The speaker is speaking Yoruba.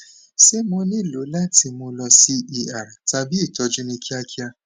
ṣe mo nilo lati mu lọ si er tabi itọju ni kiakia